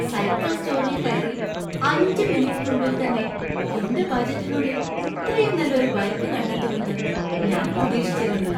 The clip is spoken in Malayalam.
സൈക്കിൾ സ്റ്റോറിൽ കയറി അഞ്ച്മി മിനിറ്റിനുള്ളിൽത്തന്നെ എന്‍റെ ബജറ്റിനുള്ളിൽ ഇത്രയും നല്ല ഒരു ബൈക്ക് കണ്ടെത്തുമെന്ന് ഞാൻ പ്രതീക്ഷിച്ചിരുന്നില്ല.